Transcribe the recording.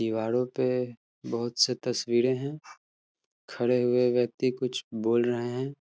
दीवारों पे बोहोत से तस्वीरें है। खड़े हुए व्यक्ति कुछ बोल रहे हैं।